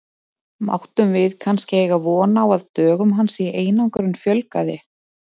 Máttum við kannski eiga von á að dögum hans í einangrun fjölgaði?